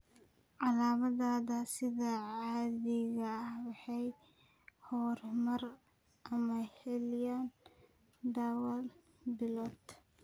Calaamadaha sida caadiga ah way horumaraan ama xalliyaan dhowr bilood.